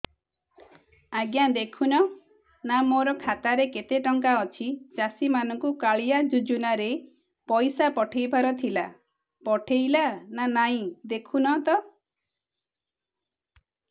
ଆଜ୍ଞା ଦେଖୁନ ନା ମୋର ଖାତାରେ କେତେ ଟଙ୍କା ଅଛି ଚାଷୀ ମାନଙ୍କୁ କାଳିଆ ଯୁଜୁନା ରେ ପଇସା ପଠେଇବାର ଥିଲା ପଠେଇଲା ନା ନାଇଁ ଦେଖୁନ ତ